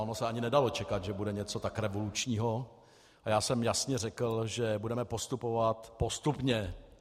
Ono se ani nedalo čekat, že bude něco tak revolučního, a já jsem jasně řekl, že budeme postupovat postupně.